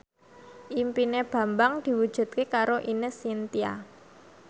impine Bambang diwujudke karo Ine Shintya